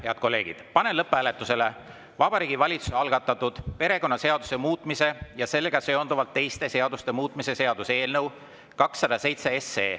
Head kolleegid, panen lõpphääletusele Vabariigi Valitsuse algatatud perekonnaseaduse muutmise ja sellega seonduvalt teiste seaduste muutmise seaduse eelnõu 207.